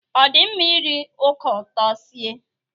Ọ dị mma iri ọka ụtọ sie?